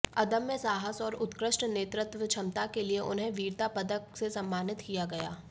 अदम्य साहस और उत्कृष्ट नेतृत्व क्षमता के लिए उन्हें वीरता पदक से सम्मानित किया गया